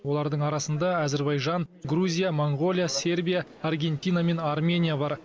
олардың арасында әзербайжан грузия моңғолия сербия аргентина мен армения бар